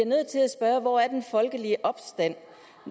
nødt til at spørge hvor den folkelige opstand